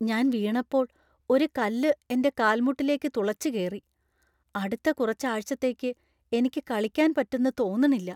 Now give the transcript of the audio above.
ഞാൻ വീണപ്പോൾ ഒരു കല്ല് എന്‍റെ കാൽമുട്ടിലേക്ക് തുളച്ച് കേറി. അടുത്ത കുറച്ചു ആഴ്ചത്തേക്ക് എനിക്ക് കളിക്കാൻ പറ്റുന്നു തോന്നണില്ല .